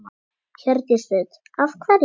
Hjördís Rut: Af hverju?